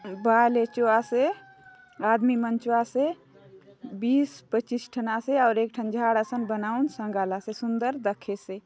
बायले चो आसे आदमी मन चो आसे बीस पच्चीस ठन आसे अउर एक ठन झाड़ असन बनाउन संगालासे सुन्दर दखेसे।